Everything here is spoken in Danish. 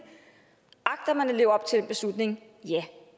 agter man at leve op til den beslutning ja